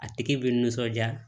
A tigi bi nisɔndiya